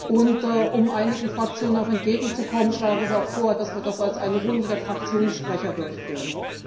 Und um einigen Fraktionen entgegenzukommen, schlage ich auch vor, dass wir das als eine Runde der Fraktionssprecher durchführen.